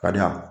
Ka da